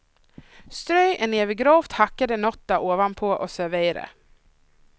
Strö en näve grovt hackade nötter ovanpå och servera.